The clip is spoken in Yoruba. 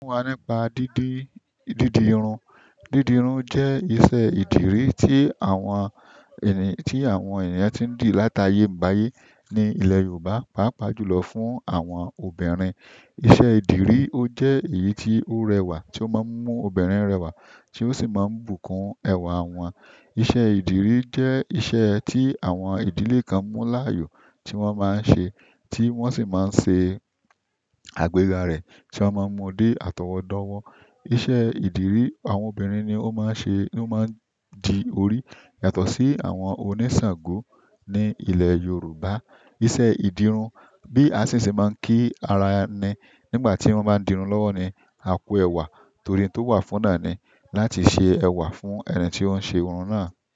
Fún wá nípa dídí, dídì irun. Dídì irun jẹ́ iṣẹ́ ìdirí tí àwọn ẹni, tí àwọn ènìyàn tí ń dì láta yé ń bá ayé ní ilẹ̀ Yorùbá, pàápàá jùlọ fún àwọn obìnrin. Iṣẹ́ ìdirí ó jẹ́ èyí tí ó rẹwà, tí ó máa ń mú obìnrin rẹwà, tí ó sì máa ń bùkún ẹwà wọn. Iṣẹ́ ìdirí jẹ́ iṣẹ́ tí àwọn ìdílé kan mú láàyò, tí wọ́n máa ń ṣe, tí wọ́n sì máa ń ṣe àgbéga rẹ̀, tí wọ́n máa ń mú dé àtọwọ́dọ́wọ́. Iṣẹ́ ìdirí àwọn obìnrin ni ó máa ń ṣe, ni ó máa ń jí orí yàtọ̀ sí àwọn oníṣàngó ní ilẹ̀ Yorùbá. Iṣẹ́ ìdirun bí a sì sì máa ń kí ara ni nígbà tí wọ́n bá ń dirun lọ́wọ́ ni, "A kú ẹwà." Torí tó wà fún náà ni láti ṣe ẹwà fún ẹni tí ó ń ṣe irun náà.